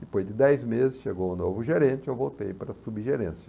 Depois de dez meses, chegou o novo gerente, eu voltei para a subgerência.